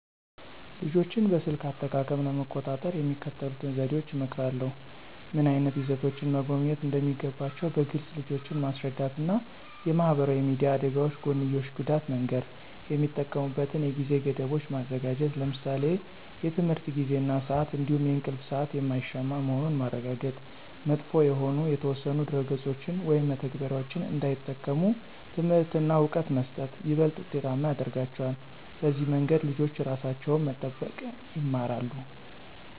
ልጆችን በስልክ አጠቃቀም ለመቆጣጠር የሚከተሉትን ዘዴዎች እመክራለሁ። ምን ዓይነት ይዘቶችን መጎብኘት እንደሚገባቸው በግልፅ ልጆችን ማስረዳት እና የማህበራዊ ሚዲያ አደጋዎች ጎንዮሽ ጉዳት መንገር። የሚጠቀሙበትን የጊዜ ገደቦች ማዘጋጀት ለምሳሌ የትምህርት ጊዜ እና ስአት እንዲሁም የእንቅልፍ ሰአት የማይሻማ መሆኑን ማረጋገጥ። መጥፎ የሆኑ የተወሰኑ ድረ-ገጾችን ወይም መተግበሪያዎችን እንዳይጠቀሙ ትምህርት እና እውቀት መስጠት ይበልጥ ውጤታማ ያረጋቸዋል። በዚህ መንገድ ልጆች ራሳቸውን መጠበቅ ይማራሉ።